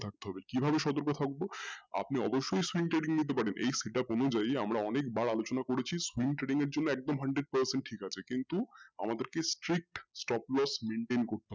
তো কীভাবে সতর্ক থাকব অবশ্যই পারেন এই set up অনুযায়ী আমরা অনেকবার আলোচনা করেছি smoothering এর জন্য একদম hundred percent ঠিক আছে কিন্তু আমাদেরকে strict maintain করতে হবে।